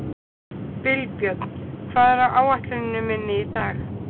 Vilbjörn, hvað er á áætluninni minni í dag?